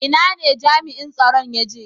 Ina ne jami'in tsaron ya je?